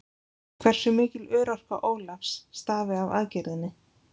Hversu mikil örorka Ólafs stafi af aðgerðinni?